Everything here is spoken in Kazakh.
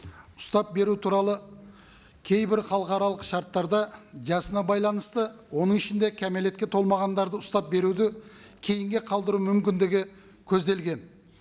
ұстап беру туралы кейбір халықаралық шарттарда жасына байланысты оның ішінде кәмелетке толмағандарды ұстап беруді кейінге қалдыру мүмкіндігі көзделген